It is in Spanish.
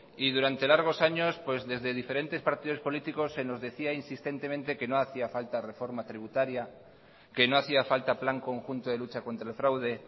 y durante largos años desde diferentes partidos políticos se nos decía insistentemente que no hacía falta reforma tributaria que no hacía falta plan conjunto de lucha contra el fraude